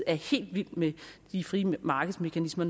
er helt vild med de frie markedsmekanismer